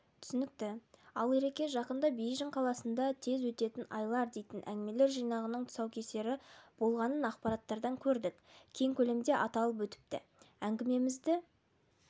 түсінікті ал ереке жақында бейжің қаласында тез өтетін айлар дейтін әңгімелер жинағыңның тұсаукесері болғанын ақпараттардан көрдік кең көлемде аталып өтіпті әңгімемізді